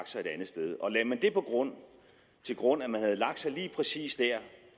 sig et andet sted og lagde man det til grund at man havde lagt sig lige præcis dér